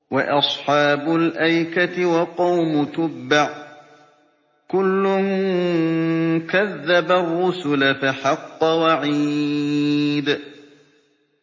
وَأَصْحَابُ الْأَيْكَةِ وَقَوْمُ تُبَّعٍ ۚ كُلٌّ كَذَّبَ الرُّسُلَ فَحَقَّ وَعِيدِ